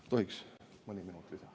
Kas tohiks saada mõni minut lisa?